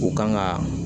U kan ka